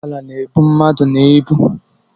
Ugboala na-ebu mmadụ na ịbụ